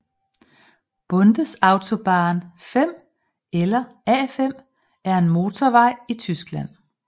Bundesautobahn 5 eller A 5 er en motorvej i Tyskland